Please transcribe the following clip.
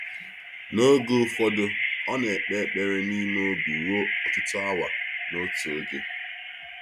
N’oge ụfọdụ, ọ na-ekpe ekpere n’ime obi ruo ọtụtụ awa n’otu oge.